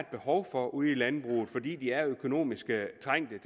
behov for ude i landbruget fordi de er økonomisk trængte